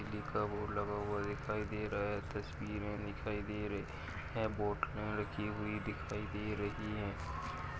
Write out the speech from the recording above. लिखा बोर्ड लगा हुआ दिखाई दे रहा है तस्वीरे दिखाई दे रही है पे लगी हुई दिखाई दे रही हैं।